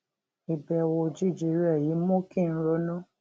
ìbèwò òjijì rè yìí mú kí n ronú